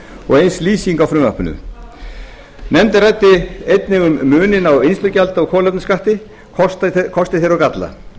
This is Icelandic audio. og eins lýsing á frumvarpinu nefndin ræddi einnig um muninn á vinnslugjaldi og kolefnisskatti kosti þeirra og galla